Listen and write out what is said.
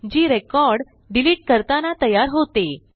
जी record delete करताना तयार होते